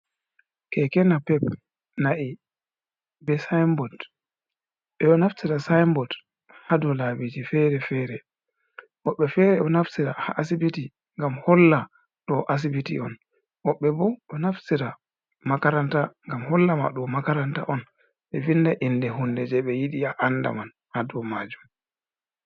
Kekena pep, na'i, be sinbod, ɓeɗo naftira sinbod ha dou labiji fere-fere woɓɓe fere ɗo naftira ha asibiti gam holla ɗo asibiti on woɓɓe bo ɗo naftira makaranta gam holla ma ɗou makaranta on ɓe vinda inde hunde je ɓe yidi a anda man ha dou majum.